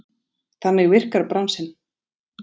Þannig virkar bransinn.